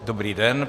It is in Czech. Dobrý den.